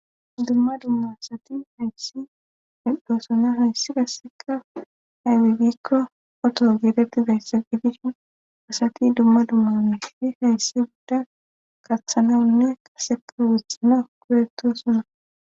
dumma dumma asati doosona hayssi qasseka hay wibikko oto geetetti dayssa gidishin asati dumma dummaunefi hayssi gudda qaththanawunne qaseka wuthana kureto suna